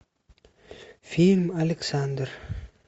фильм александр